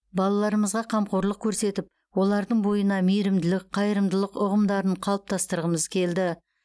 балаларымызға қамқорлық көрсетіп олардың бойына мейірімділік қайырымдылық ұғымдарын қалыптастырғымыз келді